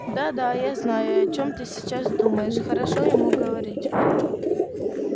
да да я знаю о чем ты сейчас думаешь хорошо ему говорить